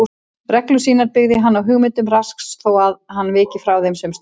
Reglur sínar byggði hann á hugmyndum Rasks þótt hann viki frá þeim sums staðar.